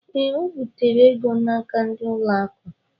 Ee, o bitere ego n'aka ndị ụlọ akụ.